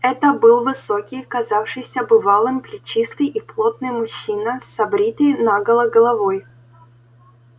это был высокий казавшийся бывалым плечистый и плотный мужчина с обритой наголо головой